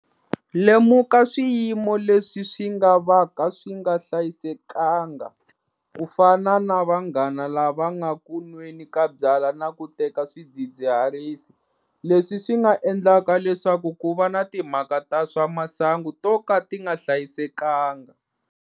Lemuka swiyimo leswi swi nga vaka swi nga hlayisekanga, ku fana na vanghana lava nga ku nweni ka byalwa na ku teka swidzidziharisi, leswi swi nga endlaka leswaku ku va na timhaka ta swa masangu to ka ti nga hlayisekanga.